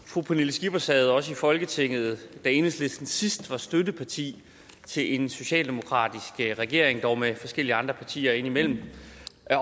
fru pernille skipper sad også i folketinget da enhedslisten sidst var støtteparti til en socialdemokratisk regering dog med forskellige andre partier indimellem